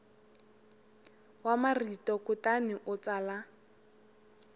wa marito kutani u tsala